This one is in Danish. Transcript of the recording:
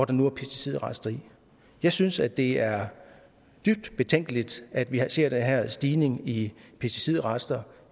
der nu er pesticidrester i jeg synes at det er dybt betænkeligt at vi ser den her stigning i pesticidrester